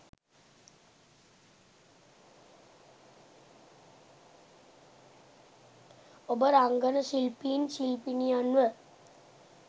ඔබ රංගන ශිල්පීන් ශිල්පිනියන්ව